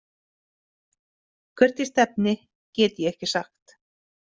Hvert ég stefni get ég ekki sagt.